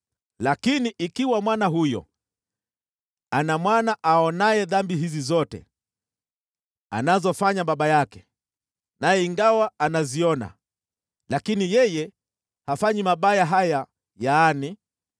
“Lakini yawezekana mwana huyo ana mwana aonaye dhambi hizi zote anazofanya baba yake, naye ingawa anaziona, yeye hafanyi mabaya kama haya: